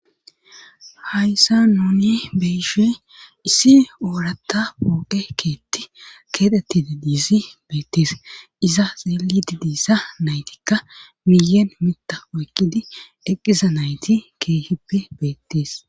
hayssa nuuni beyishe issi oorata pooqe keetti keedettide diisi beetties iza xeelidi diissa naytikka miyen mita oykkidi eqqiza nayti keehippe beettis